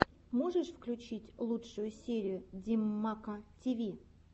можешь включить лучшую серию димммка тиви